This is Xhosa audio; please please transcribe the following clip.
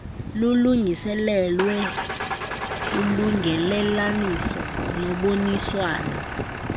lulungiselelwe ulungelelaniso noboniswano